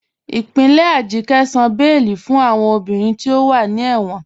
Ipinlẹ̀ Ajike sàn bẹẹ̀lì fún awọn obìnrin tí o wà ní ẹ̀wọn.